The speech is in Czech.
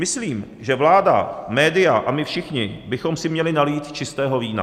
Myslím, že vláda, média a my všichni bychom si měli nalít čistého vína.